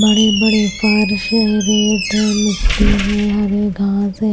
बड़े-बड़े फर्श है रेत है मिट्टी है हरे घास है।